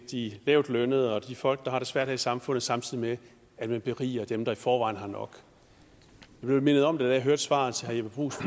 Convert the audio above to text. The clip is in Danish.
de lavtlønnede og de folk der har det svært i samfundet samtidig med at man beriger dem der i forvejen har nok jeg blev mindet om det da jeg hørte svaret til herre jeppe bruus